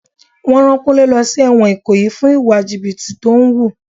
Wọn rán Kúnlé lọ sí èwòn ikoyi fún ìwà jìbìtì tó ń wù.